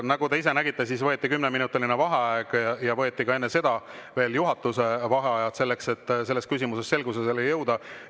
Nagu te ise nägite, siis võeti kümneminutiline vaheaeg ja võeti ka enne seda veel juhatuse vaheaegu selleks, et selles küsimuses selgusele jõuda.